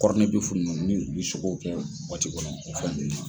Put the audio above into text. nunnu n'u bi sogow kɛ kɔnɔ o fɛn nunnu